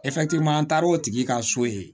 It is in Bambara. an taara o tigi ka so ye